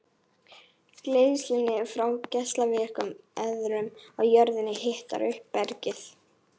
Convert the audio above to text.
Geislun frá geislavirkum efnum í jörðunni hitar upp bergið.